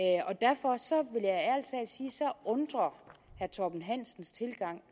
så undrer herre torben hansens tilgang